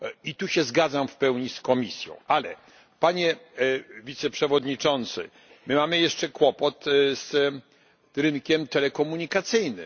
I tu się zgadzam w pełni z Komisją, ale, Panie Wiceprzewodniczący, my mamy jeszcze kłopot z rynkiem telekomunikacyjnym.